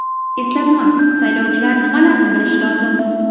Eslatma: Saylovchilar nimalarni bilishi lozim?.